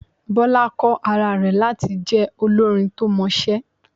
Bọ́lá kọ́ ara rẹ̀ láti jẹ olórin to mọṣẹ́.